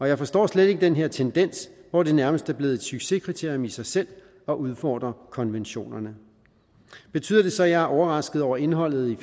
jeg forstår slet ikke den her tendens hvor det nærmest er blevet et succeskriterium i sig selv at udfordre konventionerne betyder det så at jeg er overrasket over indholdet i